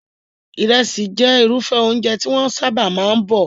Ìrẹsì jẹ́ irúfẹ́ oúnjẹ tí wọ́n sábà máa ń bọ̀.